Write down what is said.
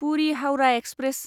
Puri Howrah express